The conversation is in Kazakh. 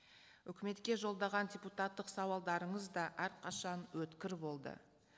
үкіметке жолдаған депутаттық сауалдарыңыз да әрқашан өткір болды